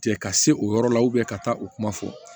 Cɛ ka se o yɔrɔ la ka taa u kuma fɔ